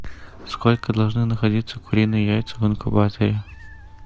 сколько должны находиться куриные яйца в инкубаторе